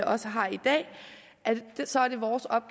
også har i dag